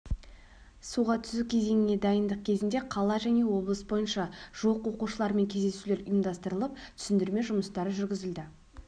суға түсу кезеңіне дайындық кезінде қала және облыс бойынша жуық оқушылармен кездесулер ұйымдастырылып түсіндірме жұмыстары жүргізілді